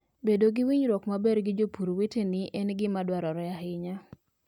Bedo gi winjruok maber gi jopur weteni en gima dwarore ahinya.